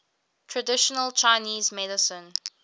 traditional chinese medicine